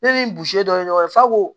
Ne ni dɔ ye ɲɔgɔn f'a ko